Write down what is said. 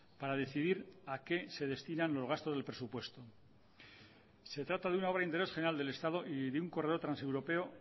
para decidir a qué se destinan los gastos del presupuesto se trata de una obra de interés general del estado y de un corredor transeuropeo